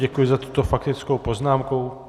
Děkuji za tuto faktickou poznámku.